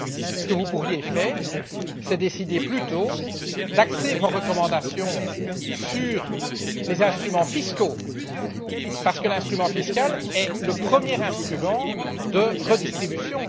Ce que vous pourriez faire, c'est plutôt décider d'axer vos recommandations sur les instruments fiscaux, parce que l'instrument fiscal est le premier instrument de redistribution.